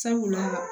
Sabula